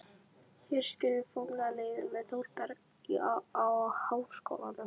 Hér skilur formlega leiðir með Þórbergi og Háskólanum.